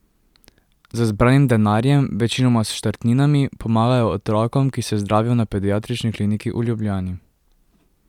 Z zbranim denarjem, večinoma s štartninami, pomagajo otrokom, ki se zdravijo na Pediatrični kliniki v Ljubljani.